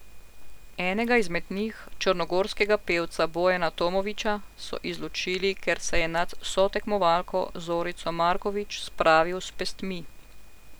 Enega izmed njih, črnogorskega pevca Bojana Tomovića, so izločili, ker se je nad sotekmovalko Zorico Marković spravil s pestmi.